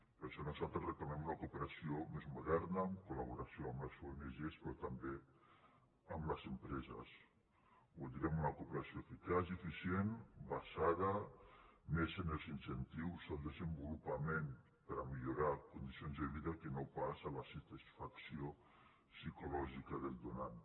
per això nosaltres reclamem una cooperació més moderna en col·laboració amb les ong però també amb les empreses voldríem una cooperació eficaç i eficient basada més en els incentius al desenvolupament per a millorar condicions de vida que no pas a la satisfacció psicològica del donant